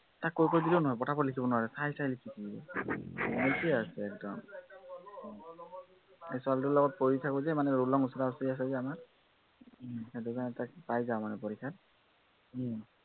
তাক কৈ কৈ দিলেও নোৱাৰে, পটাপট লিখিব নোৱাৰে, চাই চাই লিখি থাকিব। lazy আছে একদম। সেই ছোৱালীটোৰ লগত পঢ়ি থাকো যে মানে ৰোল নং ওচৰা-ওচৰি আছে যে আমাৰ, সেইটো কাৰনে তাক পাই য়াও মানে পৰীক্ষাত